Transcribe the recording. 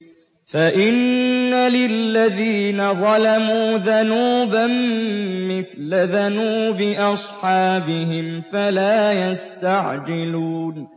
فَإِنَّ لِلَّذِينَ ظَلَمُوا ذَنُوبًا مِّثْلَ ذَنُوبِ أَصْحَابِهِمْ فَلَا يَسْتَعْجِلُونِ